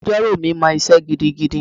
Agbẹjọ́rò mi mọ isé gidigidi.